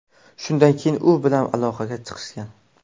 Shundan keyin u bilan aloqaga chiqishgan.